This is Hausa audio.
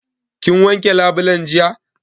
Kin wanke labulen jiya?